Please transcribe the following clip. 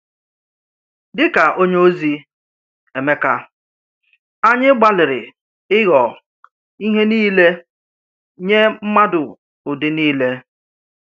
Dịka onyeozi Émékà, anyị gbalìrì ị̀ghọ̀ ihe niilè nye mmadụ ụdị niilè.